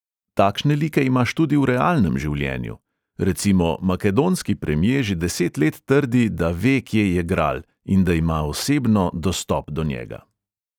Takšne like imaš tudi v realnem življenju: recimo makedonski premje že deset let trdi, da ve, kje je gral, in da ima osebno dostop do njega.